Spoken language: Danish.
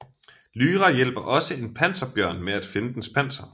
Lyra hjælper også en panserbjørn med at finde dens panser